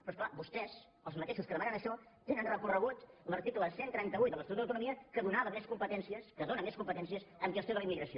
però és clar vostès els mateixos que demanen això tenen recorregut l’article cent i trenta vuit de l’estatut d’autonomia que donava més competències que dóna més competències en gestió de la immigració